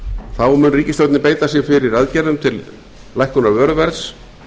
þá mun ríkisstjórnin beita sér fyrir aðgerðum til lækkunar vöruverðs